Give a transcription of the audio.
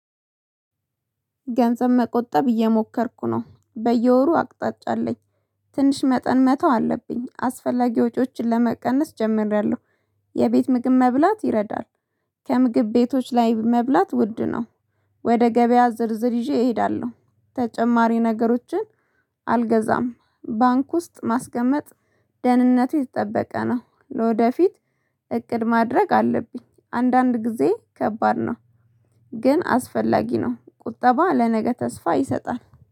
ገንዘብ መቆጠብ እየሞከርኩ። ነው በየወሩ አቅጣጫ አለኝ ትንሽ መጠን መተው አለብኝ አስፈላጊ ወጪዎችን ለመቀነስ ጀምሬያለሁ። የቤት ምግብ መብላት ይረዳል። ከምግብ ቤቶች ላይ በመብላት ውድ ነው። ወደ ገበያ ዝርዝር ይዤ እሄዳለሁ። ተጨማሪ ነገሮችን አልገዛም። ባንክ ውስጥ ማስገመጥ ደህንነት የተጠበቀ ነው። ለወደፊት እቅድ ማድረግ አለብኝ አንዳንድ ጊዜ ከባድ ነው። ግን አስፈላጊ ነው ቁጠባ ለነገ ተስፋ ይሰጣል።